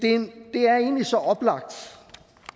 det er egentlig så oplagt